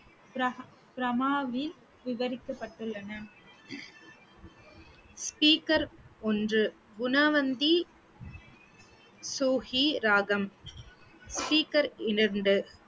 விவரிக்கப்பட்டுள்ளன speaker ஒன்று குணவந்தி சுஹி ராகம் speaker இரண்டு